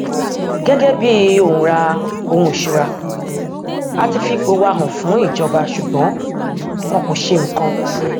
gẹgẹ bí òǹra ohun ìṣura a ti fi ipò wa hàn fún ìjọba ṣùgbọn wọn kò ṣe nǹkan